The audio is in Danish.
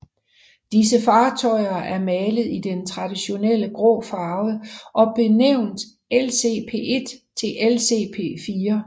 Disse fartøjer er malet i den traditionelle grå farve og er benævnt LCP1 til LCP4